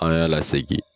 An y'a lasegin